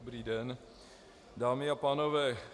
Dobrý den, dámy a pánové.